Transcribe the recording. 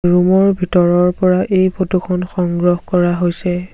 Room ৰ ভিতৰৰ পৰা এই ফটো খন সংগ্ৰহ কৰা হৈছে।